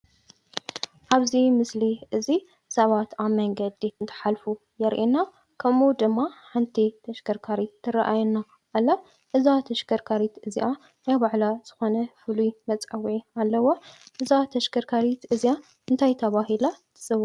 ኣብዚ ምስሊ እዚ ሰባት ኣብ መንገዲ እንትሓልፉ ዘርእየና። ከምኡ ድማ ሓንቲ ተሽከርካሪት ትርኣየና ኣላ። እዛ ተሽከርካሪት እዚኣ ናይ ባዕላ ዝኮነ ፍሉይ መፀዉዒ ኣለዋ። እዛ ተሽከርካሪት እዚኣ እንታይ ተባሂላ ትፅዋዕ?